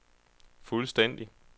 fuldstændig